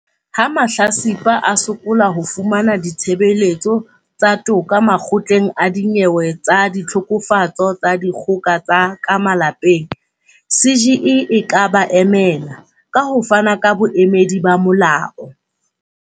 Ha mahlatsipa a sokola ho fumana ditshebeletso tsa toka Makgotleng a Dinyewe tsa Ditlhokofatso tsa Dikgoka tsa ka Malapeng, CGE e ka ba emela, ka ho fana ka boemedi ba molao.